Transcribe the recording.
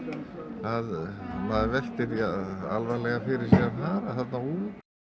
að maður veltir því alvarlega fyrir sér að fara þarna út